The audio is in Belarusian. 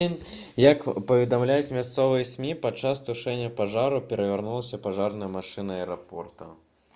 як паведамляюць мясцовыя смі падчас тушэння пажару перавярнулася пажарная машына аэрапорта